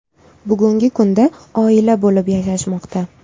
Bugungi kunda oila bo‘lib yashashmoqda.